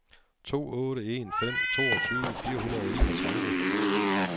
to otte en fem toogtyve fire hundrede og enogtredive